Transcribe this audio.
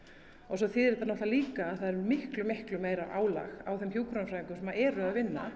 svo þýðir þetta líka að það er miklu miklu meira álag á þeim hjúkrunarfræðingum sem eru að vinna